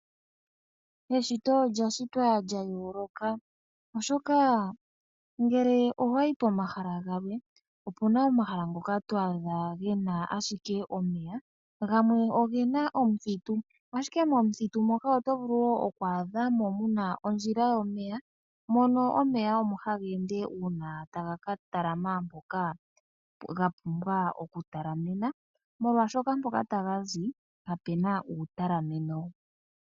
Eshito olya shitwa lyayooloka oshoka ngele owayi pomahala gamwe opuna omahala ngoka to adha gena ashike omeya, gamwe ogena omuthitu ashike momuthitu moka oto vulu okwaadha mo muna ondjila yomeya mono omeya omo haga ende uuna taga katalama mpoka gapumbwa okutalamena molwaashoka mpoka taga zi kapuna uutalameno.